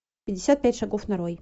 пятьдесят пять шагов нарой